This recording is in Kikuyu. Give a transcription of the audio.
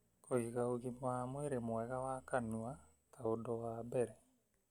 Kũiga ũgima wa mwĩrĩ mwega wa kanua ta ũndũ wa mbere